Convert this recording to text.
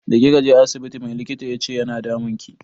Da kika je asibiti mai likitan yace yana damunki?